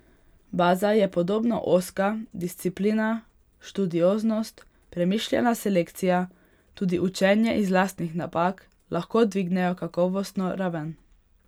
Baza je podobno ozka, disciplina, študioznost, premišljena selekcija, tudi učenje iz lastnih napak lahko dvignejo kakovostno raven.